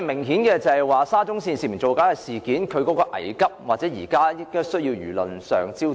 顯然，"沙中線涉嫌造假"事件性質危急，現時亦成為輿論的焦點。